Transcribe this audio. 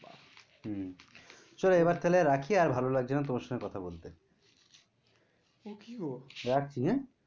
হম চলো এবার তাহলে রাখি আর ভালো লাগছে না তোমার সঙ্গে কথা বলতে। ও কি গো? রাখছি হ্যাঁ।